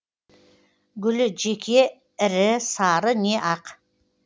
гүлі жеке ірі сары не ақ